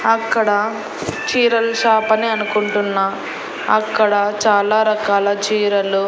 అక్కడ చీరల షాప్ అని అనుకుంటున్నా అక్కడ చాలా రకాల చీరలు.